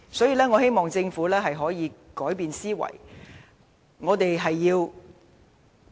所以，我希望政府能夠改變思維。